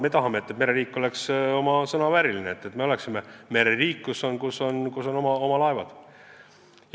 Me tahame, et mereriik oleks oma nime vääriline – et me oleksime mereriik, kus on oma laevad.